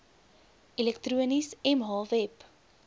elektronies mh web